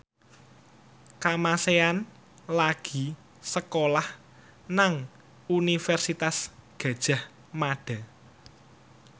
Kamasean lagi sekolah nang Universitas Gadjah Mada